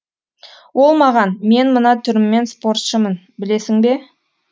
ол маған мен мына түріммен спортшымын білесің бе